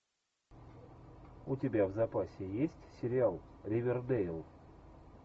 у тебя в запасе есть сериал ривердейл